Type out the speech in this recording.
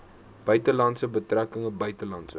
buitelandse betrekkinge buitelandse